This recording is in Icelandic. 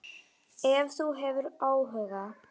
Ef þú hefur áhuga.